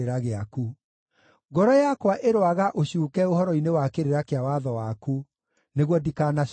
Ngoro yakwa ĩroaga ũcuuke ũhoro-inĩ wa kĩrĩra kĩa watho waku, nĩguo ndikanaconorithio.